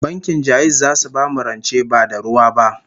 Bankin Ja'iz zasu bamu rance ba da ruwa ba